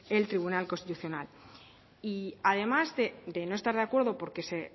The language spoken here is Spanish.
el tribunal constitucional y además de no estar de acuerdo porque se